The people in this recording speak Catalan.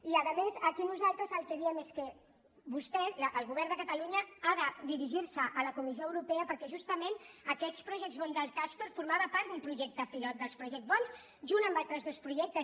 i a més aquí nosaltres el que diem és que vostès el govern de catalunya han de dirigirse a la comissió europea perquè justament aquests project bondscastor formaven part d’un projecte pilot dels project bonds junt amb altres dos projectes